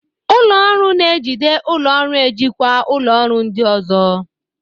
Ụlọ ọrụ na-ejide ụlọ ọrụ ejikwa ụlọ ọrụ ndị ọzọ.